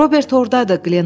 Robert ordadır!